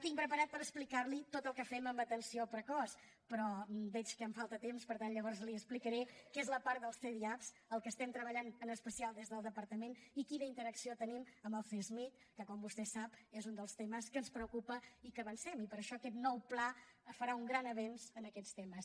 tinc preparat per explicar l’hi tot el que fem en atenció precoç però veig que em falta temps per tant llavors li explicaré el que és la part dels cdiap el que estem treballant en especial des del departament i quina interacció tenim amb el csmij que com vostè sap és un dels temes que ens preocupa i que avancem i per això aquest nou pla farà un gran avenç en aquests temes